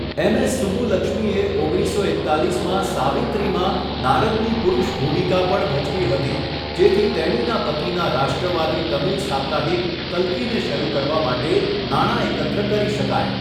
MS સુબ્બુલક્ષ્મીએ ઓગણીસસો એકતાલીસમાં 'સાવિત્રી'માં નારદની પુરુષ ભૂમિકા પણ ભજવી હતી, જેથી તેણીના પતિના રાષ્ટ્રવાદી તમિલ સાપ્તાહિક કલ્કીને શરૂ કરવા માટે નાણાં એકત્ર કરી શકાય.